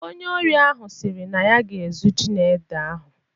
Onye ori ahụ sịrị na ya ga-ezu ji na ede ahụ.